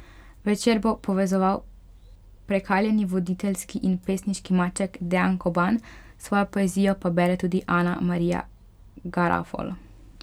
Večer bo povezoval prekaljeni voditeljski in pesniški maček Dejan Koban, svojo poezijo pa bere tudi Ana Marija Garafol.